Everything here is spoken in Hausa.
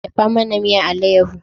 Dafa mana miyan alayaho